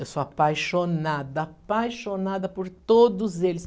Eu sou apaixonada, apaixonada por todos eles.